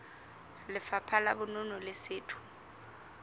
lefapha la bonono le setho